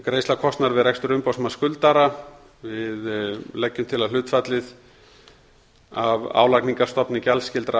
greiðsla kostnaðar við rekstur umboðsmanns skuldara við leggjum til að hlutfallið af álagningarstofni gjaldskyldra